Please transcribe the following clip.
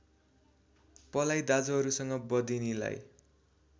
पलाई दाजुहरूसँग बधिनीलाई